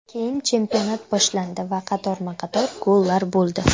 Keyin chempionat boshlandi va qatorma-qator gollar bo‘ldi.